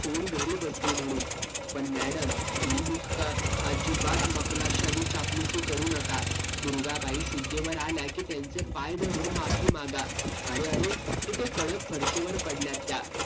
होऊन घरी बसली म्हणून. पण madam मी नुसतं अजिबात मखलाशानी चापलूसी करू नका. दुर्गाबाई शुद्धीवर आल्या की त्यांचे पाय धारून माफी मागा. अरे अरे हे त्या कडक फरशीवर पडल्यात त्या.